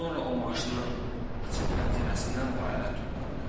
Sonra o maşının açıq pəncərəsindən bayıra tullandı.